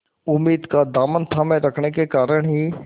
उम्मीद का दामन थामे रखने के कारण ही